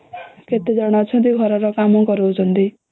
କେତେ ଜଣ ଅଛନ୍ତି ଘର ର କାମ କରାଉଛନ୍ତି ଆଉ